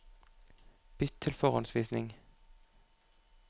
Bytt til forhåndsvisning